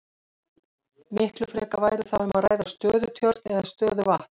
Miklu frekar væri þá um að ræða stöðutjörn eða stöðuvatn.